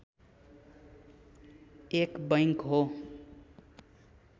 एक बैङ्क हो